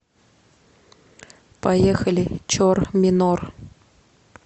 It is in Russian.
поехали чор минор